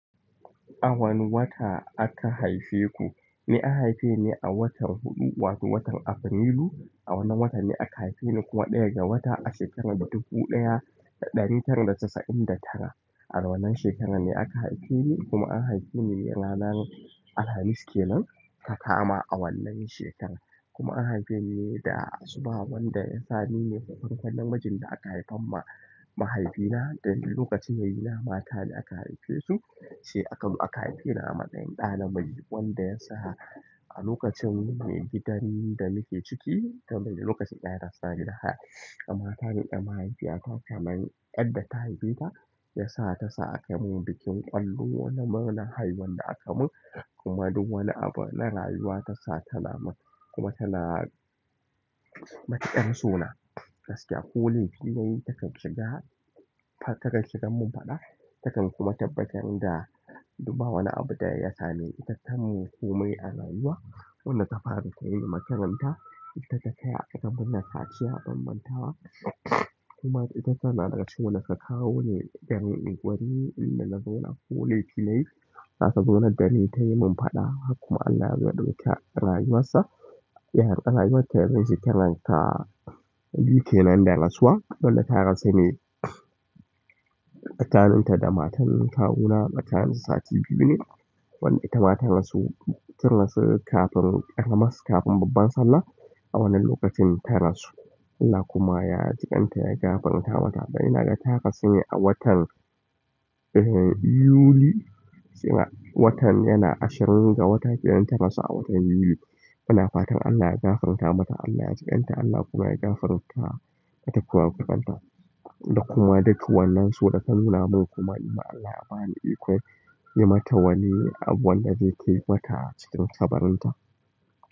A wane wata aka haife ku? Ni an haife ni a watan huɗu wato watan Afrilu. A wannan watan ne aka haife ni kuma ɗaya ga wata a shekarar dubu ɗaya da ɗari tara da casa'in da tara. A wannan shekarar ne aka haife ni kuma an haife ni ranar Alhamis ke nan takama a wannan shekarar. Kuma an haife ni da asuba wanda ya sa ni ne farkon na majin da aka haifa ma mahaifina don lokacin yayina mata ne aka haife su sai aka zo haife ni a matsayin ɗa na miji wanda ya sa a lokacin mai gidan da nake ciki tamimi lokacin iyayena na suna gidan haya. Matar ɗa mahaifiyata kamar ƴar da tahaifeta ya sa ta sa aka mun bikin ƙwallo wanda murna haihuwan da aka mun kuma duk wani abu na rayuwa ta sa tana mun kuma tana matuƙar sona gaskiya. Ko laifi nayi taken shiga taken shigan mun faɗa taken kuma tabbatar da duba wani abu da ya sa ni itattaun komai a rayuwa. Wanda ta fara kai ni matakan ta ita ta saya muna kaciya ban manta wa kuma ita tana daga wanda suka kawoni garin unguwar rimi inda na zauna ko laifi nayi. Zata zauna dani ta yi mun faɗa har kuma Allah yazo ya ɗauka rayuwar sa. Yaron ƙanaiwar ta ya rasu shekarar ta biyu kenan da rasuwa. Dolle ta rasu ni tsakanin ta da matan kawuna matan sa sati biyu ne wanda ita mata rasu ta rasu kafin ƙarama kafin babban Sallah a wannan lokacin ta rasu. Allah kuma ya jiƙinta ya gafarta mata dan ina gata ta rasa ni a watan eh Yuli sai a watan yana ashirin ga wata gidan ta rasa a watan Yuli. Ina fatan Allah ya gafarta mata Allah ya jiƙinta Allah kuma ya gafarta mata kurakuranta da kuma duka wannan son tanuna mun kuma Allah ya ba ni iko yi mata wani abu wanda zai kai mata cikin kabarinta.